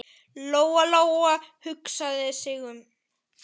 Lóa-Lóa hugsaði sig um.